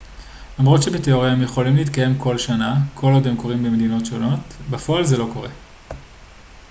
למרות שבתיאוריה הם יכולים להתקיים כל שנה כל עוד הם קורים במדינות שונות בפועל זה לא קורה